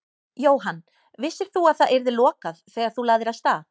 Jóhann: Vissir þú að það yrði lokað þegar þú lagðir af stað?